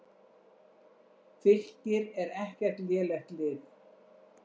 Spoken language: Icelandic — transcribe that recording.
Fylkir er ekkert lélegt lið.